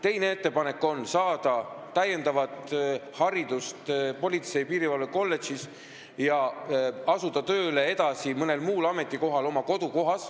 Teine ettepanek on saada täiendav haridus politsei- ja piirivalvekolledžis ning asuda oma kodukohas tööle mõnel muul ametikohal.